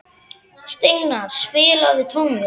Steinarr, spilaðu tónlist.